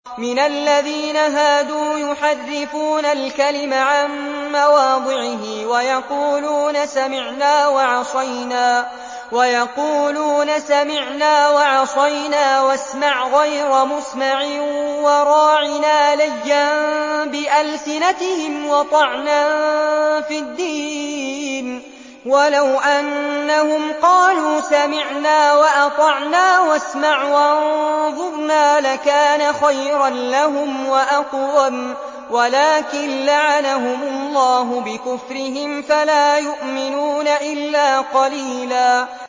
مِّنَ الَّذِينَ هَادُوا يُحَرِّفُونَ الْكَلِمَ عَن مَّوَاضِعِهِ وَيَقُولُونَ سَمِعْنَا وَعَصَيْنَا وَاسْمَعْ غَيْرَ مُسْمَعٍ وَرَاعِنَا لَيًّا بِأَلْسِنَتِهِمْ وَطَعْنًا فِي الدِّينِ ۚ وَلَوْ أَنَّهُمْ قَالُوا سَمِعْنَا وَأَطَعْنَا وَاسْمَعْ وَانظُرْنَا لَكَانَ خَيْرًا لَّهُمْ وَأَقْوَمَ وَلَٰكِن لَّعَنَهُمُ اللَّهُ بِكُفْرِهِمْ فَلَا يُؤْمِنُونَ إِلَّا قَلِيلًا